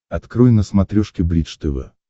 открой на смотрешке бридж тв